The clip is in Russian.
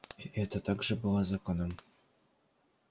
и это также было законом